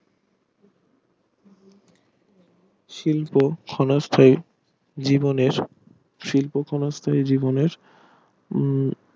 শিল্প ক্ষনস্তাই জীবনের শিল্প ক্ষনস্তাই জীবনের উম